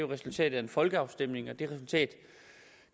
resultatet af en folkeafstemning og det resultat